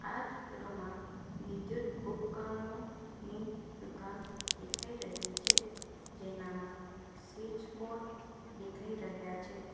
આ ચિત્રમાં વિદ્યુત ઉપકરણો ની દુકાન દેખાઈ રહી છે જેનામાં સ્વીચ બોર્ડ દેખાઈ રહ્યા છે.